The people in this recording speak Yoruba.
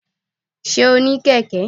sé o ní Keke?